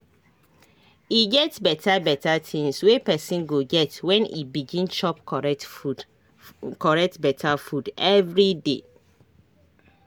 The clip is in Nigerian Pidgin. e get beta beta tinz wey pesin go get when e begin chop correct beta food everyday